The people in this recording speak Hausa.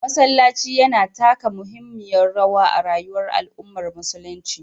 Masallaci yana taka muhimmiyar rawa a rayuwar al’ummar musulunci.